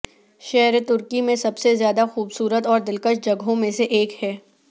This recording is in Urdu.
شہر ترکی میں سب سے زیادہ خوبصورت اور دلکش جگہوں میں سے ایک ہے